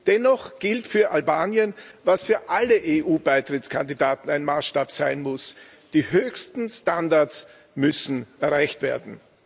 Dennoch gilt für Albanien, was für alle EU Beitrittskandidaten ein Maßstab sein muss Die höchsten Standards müssen erreicht werden.